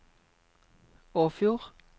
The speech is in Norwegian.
Åfjord